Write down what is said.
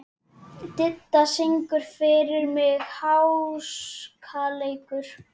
Didda, syngdu fyrir mig „Háskaleikur“.